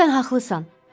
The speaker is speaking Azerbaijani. Sən haqlısan.